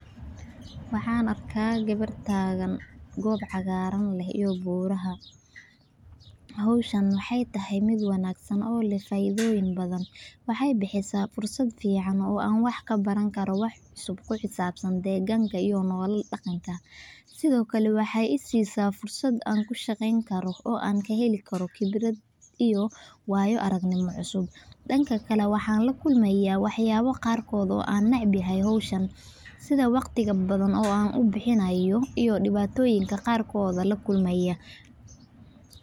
Waxaan arkaa gawaar taagan goob cagaaran oo u muuqata in aan loogu talogelin in lagu istaago, waayo waa meel loogu tala galay dadku inay ku nastaan ama carruurta ay ku ciyaaraan. Marka gawaaridu halkaas taagnaadaan, waxay carqaladeynayaan dadka doonaya inay si xor ah u isticmaalaan deegaankaas. Intaa waxaa dheer, taasi waxay keeni kartaa in dhirta la burburiyo ama dhulka cagaaran uu dhaawacmo, taasoo hoos u dhigaysa bilicda deegaanka iyo dhibaatoyinka qarkood.